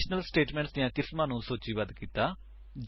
conditional statements ਦੀਆਂ ਕਿਸਮਾਂ ਨੂੰ ਸੂਚੀਬੱਧ ਕੀਤਾ